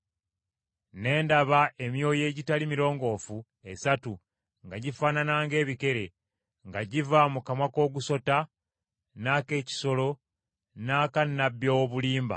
Ne ndaba emyoyo egitali mirongoofu esatu nga gifaanana ng’ebikere nga giva mu kamwa k’ogusota, n’ak’ekisolo, n’aka nnabbi ow’obulimba.